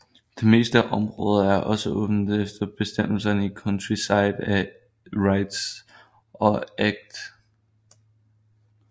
Det meste af området er også åbent efter bestemmelserne i Countryside and Rights of Way Act 2000